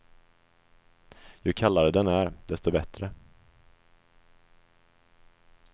Ju kallare den är, desto bättre.